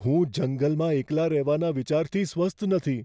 હું જંગલમાં એકલા રહેવાના વિચારથી સ્વસ્થ નથી.